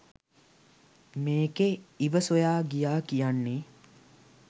මේකෙ "ඉව" සොයා ගියා කියන්නෙ